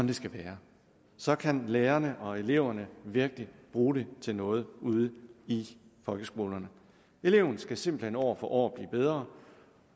det skal være så kan lærerne og eleverne virkelig bruge det til noget ude i folkeskolerne eleven skal simpelt hen år for år blive bedre